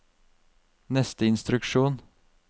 neste instruksjon